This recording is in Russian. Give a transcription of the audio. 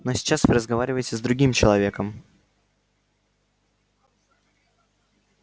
но сейчас вы разговариваете с другим человеком